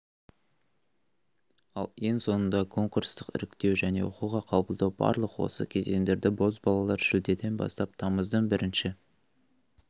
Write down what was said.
ал ең соңында конкурстық іріктеу және оқуға қабылдау барлық осы кезеңдерді бозбалалар шілдеден бастап тамыздың бірінші